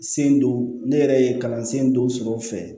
Sen do ne yɛrɛ ye kalansen dɔw sɔrɔ o fɛ